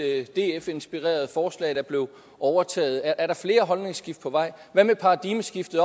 et df inspireret forslag der blev overtaget er der flere holdningsskift på vej hvad med paradigmeskiftet